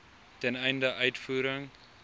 ten einde uitvoering